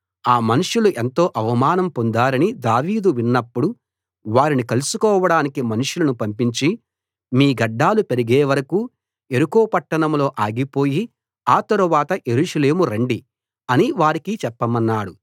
ఆ మనుషులు ఎంతో అవమానం పొందారని దావీదు విన్నప్పుడు వారిని కలుసుకోవడానికి మనుషులను పంపించి మీ గడ్డాలు పెరిగే వరకూ యెరికో పట్టణంలో ఆగిపోయి ఆ తరువాత యెరూషలేము రండి అని వారికి చెప్పమన్నాడు